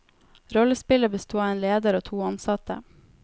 Rollespillet besto av en leder og to ansatte.